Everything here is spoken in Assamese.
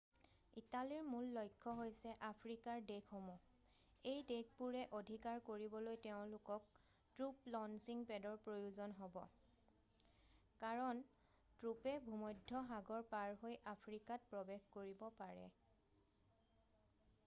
ইটালীৰ মূল লক্ষ্য হৈছে আফ্ৰিকাৰ দেশসমূহ এই দেশবোৰ অধিকাৰ কৰিবলৈ তেওঁলোকক ট্ৰুপ লঞ্চিং পেডৰ প্ৰয়োজন হ'ব কাৰণ ট্ৰুপে ভূমধ্য সাগৰ পাৰহৈ আফ্ৰিকাত প্ৰৱেশ কৰিব পাৰিব